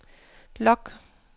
log